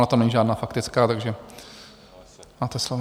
Ona to není žádná faktická, takže máte slovo.